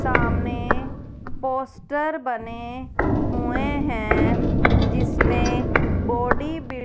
सामने पोस्टर बने हुए हैं जिसमें बॉडी बि--